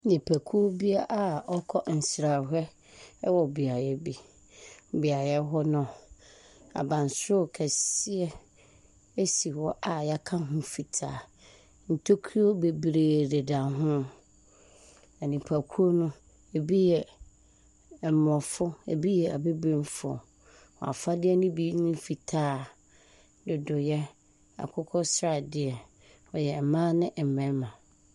Nnipakuo bi a wɔrekɔ nsrahwɛ wɔ beaeɛ bi, beaeɛ hɔ no, abansoro kɛse bi si hɔ a yɛaka ho fitaa, ntokuro bebree deda ho. Na nnipakuw no, bi yɛ aborɔfo, bi yɛ abibifo, wɔn afadeɛ ne bi ne fitaa, dodoeɛ, akokɔsradeɛ. Wɔyɛ mmaa ne mmarima.